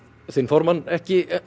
þinn formann ekki